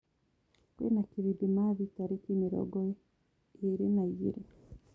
kwĩna kĩrĩthĩmathĩ tarĩkĩ mĩrongoĩrĩ naĩgĩrĩ